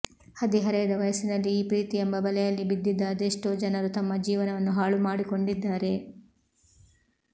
ಹದಿ ಹರೆಯದ ವಯಸ್ಸಿನಲ್ಲಿ ಈ ಪ್ರೀತಿ ಎಂಬ ಬಲೆಯಲ್ಲಿ ಬಿದ್ದಿದ್ದ ಅದೆಷ್ಟೋ ಜನರು ತಮ್ಮ ಜೀವನವನ್ನು ಹಾಳು ಮಾಡಿಕೊಂಡಿದ್ದಾರೆ